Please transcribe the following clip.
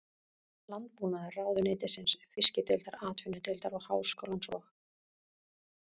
Landbúnaðarráðuneytisins, Fiskideildar Atvinnudeildar Háskólans og